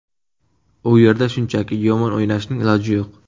U yerda shunchaki, yomon o‘ynashning iloji yo‘q.